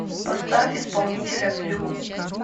поставь исполнителя флюм